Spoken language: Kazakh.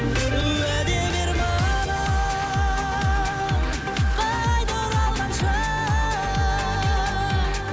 уәде бер маған қайта оралғанша